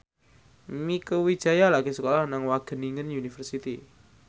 Mieke Wijaya lagi sekolah nang Wageningen University